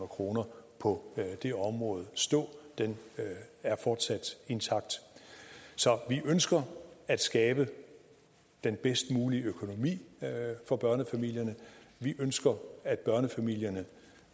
kroner på det område stå den er fortsat intakt så vi ønsker at skabe den bedst mulige økonomi for børnefamilierne vi ønsker at børnefamilierne